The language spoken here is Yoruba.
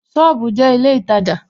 Sọ́ọ̀bù jẹ́ ilé ìtajà